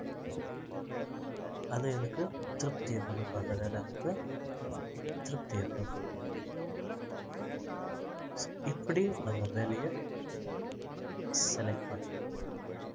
அது எனக்கு திருப்தி கொடுக்கும் அந்த வேலை எனக்கு திருப்தியை கொடுக்கும் இப்படி நம்ம வேலையை select பண்ணணும்